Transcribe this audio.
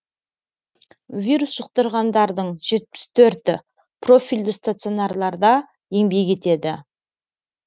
вирус жұқтырғандардың жетпіс төрті профильді стационарларда еңбек етеді